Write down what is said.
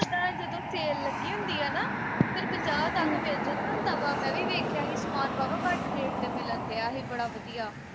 ਉੱਦਾਂ ਜਦੋਂ sale ਲੱਗੀ ਹੁੰਦੀ ਆ ਨਾ ਉਦਨ ਪੰਜਾਹ ਤੱਕ ਮਿਲ ਜਾਂਦਾ ਹੁੰਦਾ ਵਾ ਮੈਂ ਵੀ ਵੇਖਿਆ ਹੀ ਸਾਮਾਨ ਵਾਹਵਾ ਘੱਟ rate ਤੇ ਮਿਲਣ ਦਿਆ ਹੀ ਬੜਾ ਵਧੀਆ